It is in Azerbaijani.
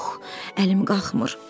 Yox, əlim qalxmır.